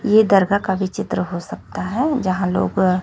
ये दरगाह का भी चित्र हो सकता है जहां लोग--